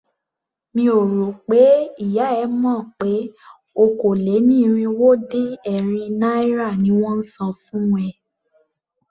Mi ò rò pé ìyá e mọ̀ pé okòó-lé-ní-irínwó-dín-ẹ̀rin naira ni wón ń san fún ẹ.